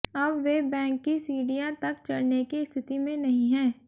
अब वे बैंक की सीढ़ियां तक चढ़ने की स्थिति में नहीं है